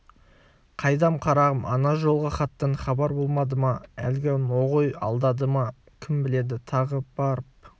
қайдам қарағым ана жолғы хаттан хабар болмады ма әлгі ноғай алдады ма кім біледі тағы барып